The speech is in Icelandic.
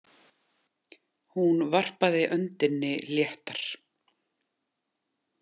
Hún varpaði öndinni léttar.